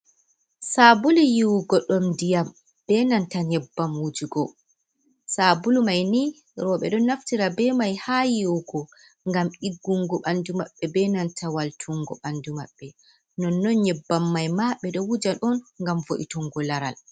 Sabulu yiwugo ɗum ndiyam, be nanta nyebbam wujugo. Sabulu mai ni rowɓe ɗon naftira be mai ha yiwugo, ngam ɗiggungo ɓandu mabɓe, be nanta waltungo ɓandu maɓɓe. Non non nyebban mai ma, ɓe ɗo wuja ɗum ngam vo'itungo laral.